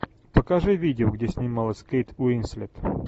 покажи видео где снималась кейт уинслет